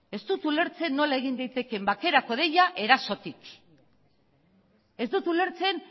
ez dut ulertzen nola egin daitekeen bakerako deia erasotik ez dut ulertzen